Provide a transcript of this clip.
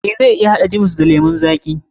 Eh, zan iya haɗa jiwis na lemun zaƙi.